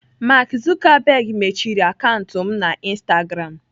Mark Zuckerberg mechiri akaụntụ m na instagram.